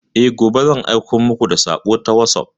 E, gobe zan aiko muku da sako ta wasop.